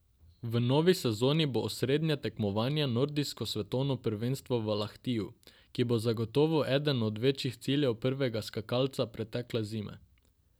V novi sezoni bo osrednje tekmovanje nordijsko svetovno prvenstvo v Lahtiju, ki bo zagotovo eden od večjih ciljev prvega skakalca pretekle zime.